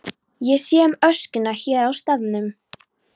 Ég sé um öskuna hér á staðnum.